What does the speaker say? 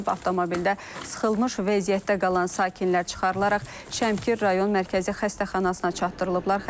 Avtomobildə sıxılmış vəziyyətdə qalan sakinlər çıxarılaraq Şəmkir rayon Mərkəzi Xəstəxanasına çatdırılıblar.